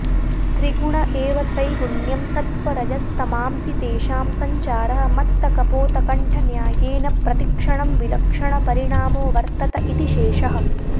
त्रिगुण एव त्रैगुण्यं सत्त्वरजस्तमांसि तेषां सञ्चारः मत्तकपोतकण्ठन्यायेन प्रतिक्षणं विलक्षणपरिणामो वर्त्तत इति शेषः